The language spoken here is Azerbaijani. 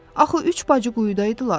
Axı üç bacı quyudaydılar.